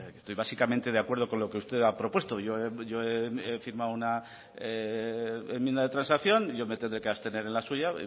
estoy básicamente de acuerdo con lo que usted ha propuesto yo he firmado una enmienda de transacción yo me tendré que abstener en la suya